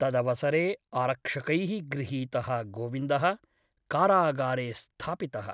तदवसरे आरक्षकैः गृहीतः गोविन्दः कारागारे स्थापितः ।